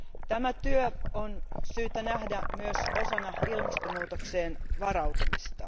Tämä työ on syytä nähdä myös osana ilmastonmuutokseen varautumista.